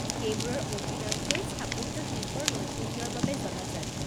সেইবোৰৰ অধিকাংশই স্থাপত্যশিল্পৰ নৈপুণ্যৰ বাবে জনাজাত।